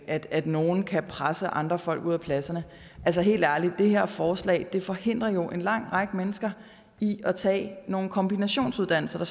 at at nogle kan presse andre folk ud af pladserne helt ærligt det her forslag forhindrer jo en lang række mennesker i at tage nogle kombinationsuddannelser